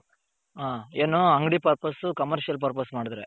ಹಾ ಏನು ಅಂಗಡಿ purpose commercial purpose ಮಾಡದ್ರೆ.